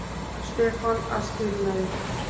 Stefán að skilnaði.